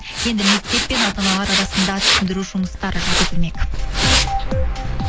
енді мектеп пен ата аналар арасында түсіндіру жұмыстары жүргізілмек